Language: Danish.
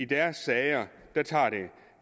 deres sager tager